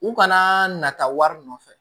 U kana na taa wari nɔfɛ